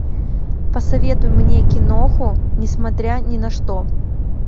посоветуй мне киноху несмотря ни на что